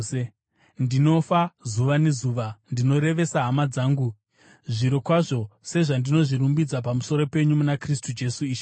Ndinofa zuva nezuva, ndinorevesa hama dzangu, zvirokwazvo sezvandinozvirumbidza pamusoro penyu muna Kristu Jesu Ishe wedu.